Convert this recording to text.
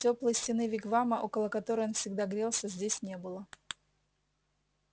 тёплой стены вигвама около которой он всегда грелся здесь не было